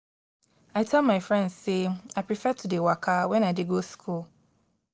i tell my friend sey i prefer to dey waka wen i dey go skool.